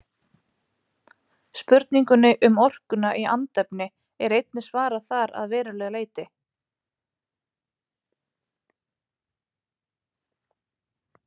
Spurningunni um orkuna í andefni er einnig svarað þar að verulegu leyti.